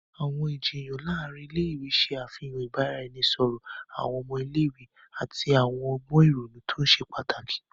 Awọn ijiyan láàrin ilé-ìwé ṣe àfihàn ibaraẹnisọrọ awọn ọmọ ilé-ìwé ati awọn ọgbọn ìrònú to ṣe pàtàkì.